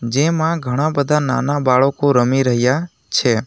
જેમાં ઘણા બધા નાના બાળકો રમી રહ્યા છે.